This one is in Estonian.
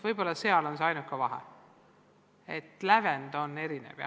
Võib-olla see on see ainuke vahe, et lävend on erinev.